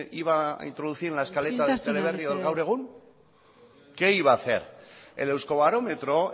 iban a introducir en la escaleta del teleberri o del gaur egun qué iba a hacer el euskobarometro